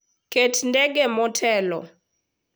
Ket ndege motelo.